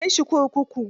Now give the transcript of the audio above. Ku kai shi kurkuku.